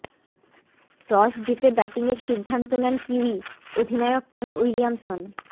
toss জিতে batting এর সিদ্ধান্ত নেন কিউই অধিনায়ক কেন উইলিয়ামসন